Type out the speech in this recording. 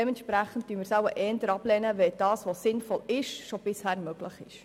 Dementsprechend lehnen wir es wohl eher ab, denn was sinnvoll ist, war schon bisher möglich.